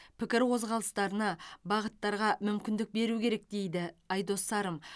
пікір қозғалыстарына бағыттарға мүмкіндік беру керек дейді айдос сарым